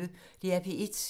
DR P1